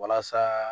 Walasa